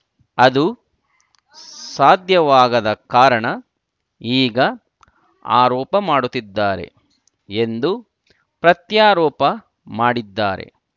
ಅದು ಸಾಧ್ಯವಾಗದ ಕಾರಣ ಈಗ ಆರೋಪ ಮಾಡುತ್ತಿದ್ದಾರೆ ಎಂದು ಪ್ರತ್ಯಾರೋಪ ಮಾಡಿದ್ದಾರೆ